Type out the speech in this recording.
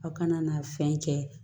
Aw kana na fɛn kɛ